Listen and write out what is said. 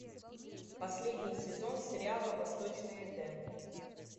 последний сезон сериала восточный эдем